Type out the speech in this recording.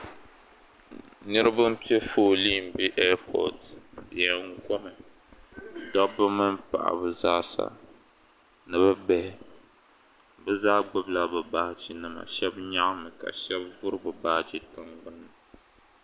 Niriba pe fooli bɛ Airport leri koma dabba mini paɣ'ba zaasa ni bɛ bihi bɛ zaa gbubila bɛ baajenima ka shɛba nyaɣi ka shɛba gbubi bɛ baaje tinŋ gbuni.